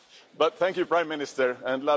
But thank you, Prime Minister, and